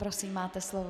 Prosím, máte slovo.